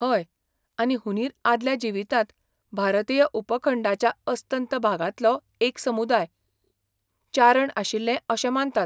हय. आनी हुंदीर आदल्या जिवितांत भारतीय उपखंडाच्या अस्तंत भागांतलो एक समुदाय, चारण आशिल्ले अशें मानतात, .